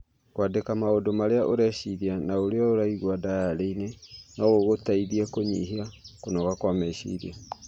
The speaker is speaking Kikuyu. Kwandĩka maũndũ marĩa ũreciria na ũrĩa ũiguaga ndayarĩ-inĩ no gũgũteithie kũnyihia kũnoga kwa meciria.